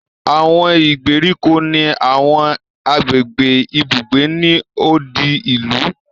Àwọn ìgbèríko ni àwọn agbègbè ibùgbé ni odi ìlú